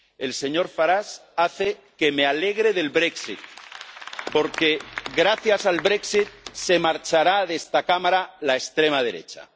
El señor Farage hace que me alegre del brexit porque gracias al brexit se marchará de esta Cámara la extrema derecha.